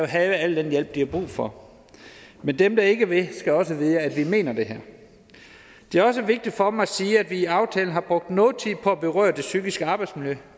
have al den hjælp de har brug for men dem der ikke vil skal også vide at vi mener det her det er også vigtigt for mig at sige at vi i aftalen har brugt noget tid på at berøre det psykiske arbejdsmiljø